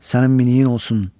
Sənin miniyin olsun.